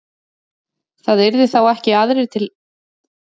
Það yrðu þá ekki aðrir til þess að brengla minningu hins látna en hann sjálfur.